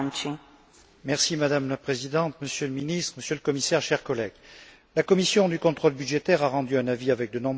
Madame la Présidente, Monsieur le Ministre, Monsieur le Commissaire, chers collègues, la commission du contrôle budgétaire a rendu un avis avec de nombreuses suggestions.